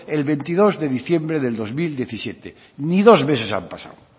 el veintidós de diciembre del dos mil diecisiete ni dos meses han pasado